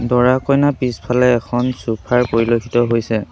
দৰা কইনাৰ পিছফালে এখন চোফাৰ পৰিলক্ষিত হৈছে।